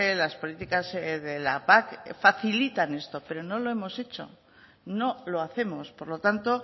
las políticas de la pac facilitan esto pero no lo hemos hecho no lo hacemos por lo tanto